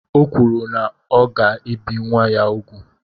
O kwuru na ọ ga-ebi nwa m úgwù.